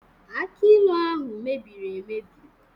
Akj ilu ahụ mere mmebi